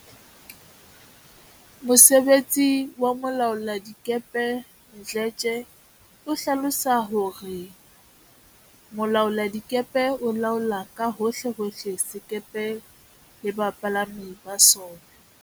Mosebetsi wa molaoladikepe Mdletshe o hlalosa hore Mo laoladikepe o laola ka hohle hohle sekepe le bapalami ba sona.